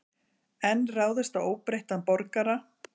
Enn ráðist á óbreytta borgara